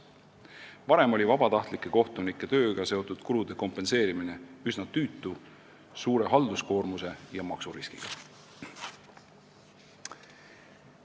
Varem oli vabatahtlike kohtunike tööga seotud kulude kompenseerimine üsna tüütu, suure halduskoormuse ja maksuriskiga tegevus.